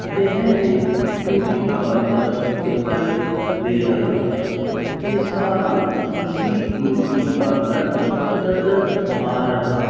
यह एक beauty parlour दिखाई दे रहा है जिसका नाम श्री ब्यूटी पार्लर नजर आ रहा --